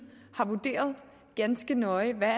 har vurderet ganske nøje hvad